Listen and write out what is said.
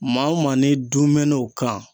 Maa o maa n'i dunmɛn'o kan